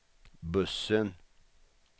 bussen